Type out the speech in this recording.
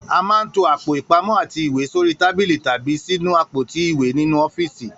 A máa ń to àpò ìpamó̩ àti ìwé sórí tábílì tàbí sínú àpótí ìwé nínú ó̩fíìsì